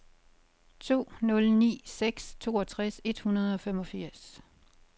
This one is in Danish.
to nul ni seks toogtres et hundrede og femogfirs